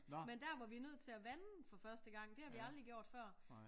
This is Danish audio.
Men der var vi nødt til at vande for første gang det har vi aldrig gjort før